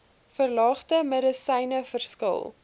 verlangde medisyne verskil